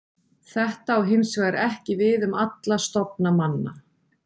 Þetta á hins vegar ekki við um alla stofna manna.